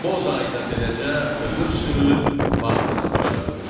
Bozay da beləcə ömür sürüb, vaxtını başa vurdu.